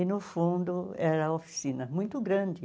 E no fundo era oficina muito grande.